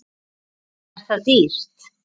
Er það dýrt?